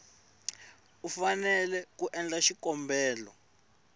u fanele ku endla xikombelo